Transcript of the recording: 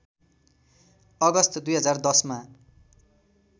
अगस्त २०१० मा